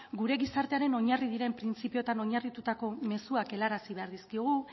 gure gizartearen oinarri diren printzipioetan oinarritutako mezuak helarazi behar dizkiogu